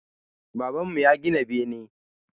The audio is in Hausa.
Baban mu ya gina bene